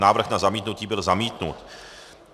Návrh na zamítnutí byl zamítnut.